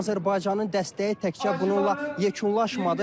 Amma Azərbaycanın dəstəyi təkcə bununla yekunlaşmadı.